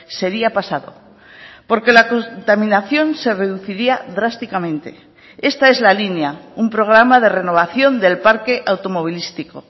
sería pasado porque la contaminación se reduciría drásticamente esta es la línea un programa de renovación del parque automovilístico